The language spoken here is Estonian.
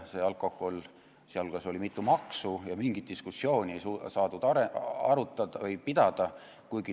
Seal hulgas oli mitu maksu ja mingit diskussiooni ei saadud pidada.